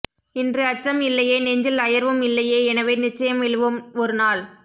இன்று அச்சம் இல்லையே நெஞ்சில் அயர்வும் இல்லையே எனவே நிச்சயம் வெல்லுவோம் ஒரு நாள்